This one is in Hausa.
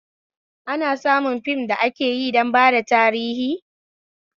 Ana samun fim da akeyi don bada tarihi